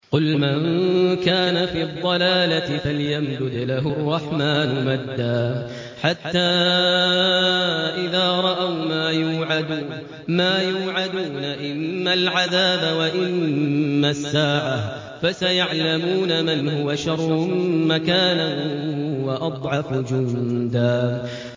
قُلْ مَن كَانَ فِي الضَّلَالَةِ فَلْيَمْدُدْ لَهُ الرَّحْمَٰنُ مَدًّا ۚ حَتَّىٰ إِذَا رَأَوْا مَا يُوعَدُونَ إِمَّا الْعَذَابَ وَإِمَّا السَّاعَةَ فَسَيَعْلَمُونَ مَنْ هُوَ شَرٌّ مَّكَانًا وَأَضْعَفُ جُندًا